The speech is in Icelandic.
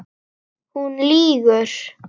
Hún lýgur.